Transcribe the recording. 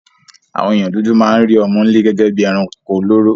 Àwon èèyàn dúdú ma n rí ọmọ́nlé gégé bi eranko olóró